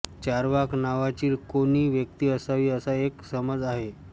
चार्वाक नावाची कोणी व्यक्ती असावी असा एक समज आहे